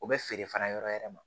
O bɛ feere fana yɔrɔ yɛrɛ ma